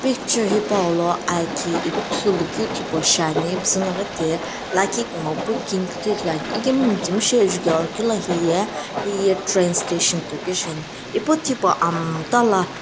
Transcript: picture hipou lo aki ithulu keu thi pu shiane ipuzii naghi tea liikhi kumo pu kene kiithi ithulu ane ekemu mitsiimushi jukae lo heye train station shi ane epuna tipa amtala.